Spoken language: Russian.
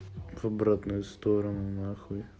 в обратную сторону нахуй